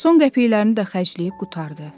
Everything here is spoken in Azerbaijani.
Son qəpikləri də xərcləyib qurtardı.